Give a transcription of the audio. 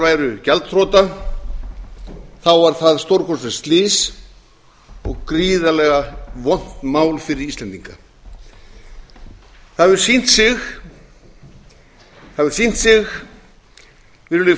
báru gjaldþrota var það stórkostlegt slys og gríðarlega vont mál fyrir íslendinga það hefur sýnt sig virðulegi